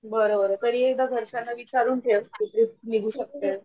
बर बर तरी एकदा घरच्यांना विचारून ठेवं की ट्रीप निघू शकतें